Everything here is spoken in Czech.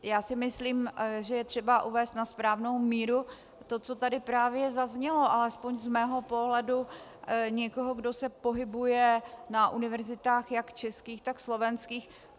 Já si myslím, že je třeba uvést na správnou míru to, co tady právě zaznělo, alespoň z mého pohledu někoho, kdo se pohybuje na univerzitách jak českých, tak slovenských.